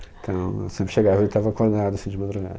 Então, eu sempre chegava e ele estava acordado, assim, de madrugada.